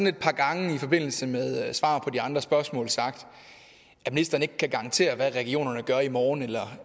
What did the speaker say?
et par gange i forbindelse med svar på de andre spørgsmål sagt at ministeren ikke kan garantere hvad regionerne gør i morgen eller